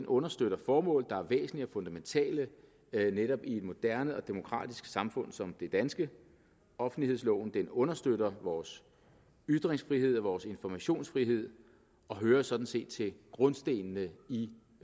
understøtter formål der er væsentlige og fundamentale netop i et moderne og demokratisk samfund som det danske offentlighedsloven understøtter vores ytringsfrihed og vores informationsfrihed og hører sådan set til grundstenene i